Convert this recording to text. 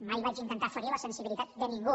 mai vaig intentar ferir la sensibilitat de ningú